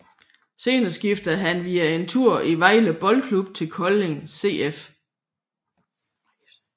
Senere skiftede han via en tur i Vejle Boldklub til Kolding FC